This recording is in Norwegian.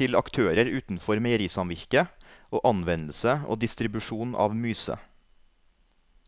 til aktører utenfor meierisamvirket og anvendelse og distribusjon av myse.